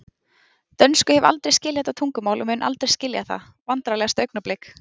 Dönsku hef aldrei skilið þetta tungumál og mun aldrei skilja það Vandræðalegasta augnablik?